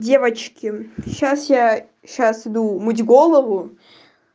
девочки сейчас я сейчас иду мыть голову